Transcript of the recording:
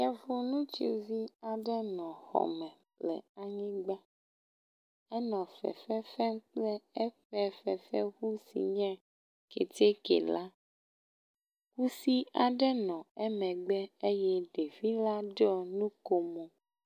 Efo nutsuvi aɖe nɔ xɔme le anyigba enɔ fefefem kple éƒe fefe ʋu si nye kɛtɛkɛ la kusi aɖe nɔ emegbe eye ɖevila ɖo núkomo